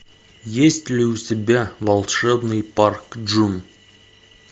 есть ли у тебя волшебный парк джун